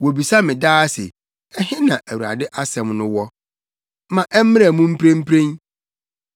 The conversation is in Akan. Wobisa me daa sɛ, “Ɛhe na Awurade asɛm no wɔ? Ma ɛmmra mu mprempren!”